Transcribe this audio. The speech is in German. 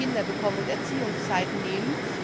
wenn sie Kinder bekommen und Erziehungszeiten nehmen.